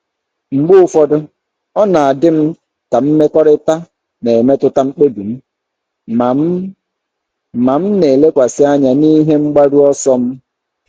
Mgbe ụfọdụ, ọ na-adị m ka mmekọrịta na-emetụta mkpebi m, ma m, ma m na-elekwasị anya n'ihe mgbaru ọsọ m.